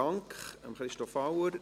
Dank an Christoph Auer.